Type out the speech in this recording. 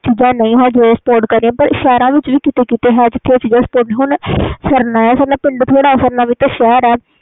ਚੀਜ਼ਾਂ ਅਜੇ ਨਹੀਂ spot ਕਰਦੀਆਂ ਪਿੰਡਾਂ ਵਿਚ ਹੀ ਨਹੀਂ ਕੀਤੇ ਕੀਤੇ ਸ਼ਹਿਰ ਵਿਚ ਵੀ ਨਹੀਂ spot ਕਰਦੀ ਸਰਨਾ ਪਿੰਡ ਥੋੜੀ ਉਹ ਵੀ ਸ਼ਹਿਰ ਆ